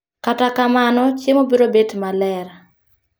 Kata kamano, chiemo biro bet maler